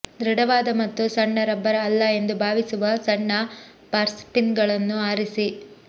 ದೃಢವಾದ ಮತ್ತು ಸಣ್ಣ ರಬ್ಬರ್ ಅಲ್ಲ ಎಂದು ಭಾವಿಸುವ ಸಣ್ಣ ಪಾರ್ಸ್ನಿಪ್ಗಳನ್ನು ಆರಿಸಿ